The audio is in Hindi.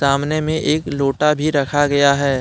सामने में एक लोटा भी रखा गया है।